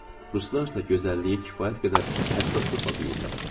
Ruslar isə gözəlliyi kifayət qədər həssaslıqla duyurlar.